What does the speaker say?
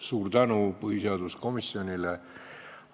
Suur tänu põhiseaduskomisjonile!